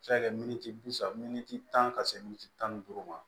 A bɛ se ka kɛ miniti bi saba miniti tan ka se mintiti tan ni duuru ma